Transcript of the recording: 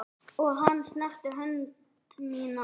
Og hann snerti hönd mína.